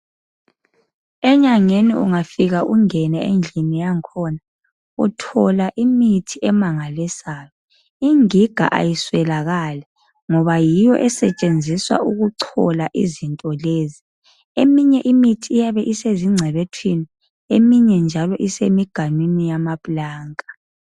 Enyangeni ungafika ungene endlini yangkhona uthola imithi emangalisayo, ingiga ayiswelakali ngoba yiyo esetshenziswa ukuchola izinto lezi, eminye imithi iyabe isezigcebethwini eminye njalo isemiganwini yamaplanka.